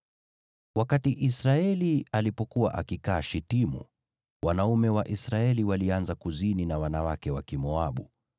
Israeli alipokuwa akikaa Shitimu, wanaume wa Israeli walianza kuzini na wanawake wa Kimoabu,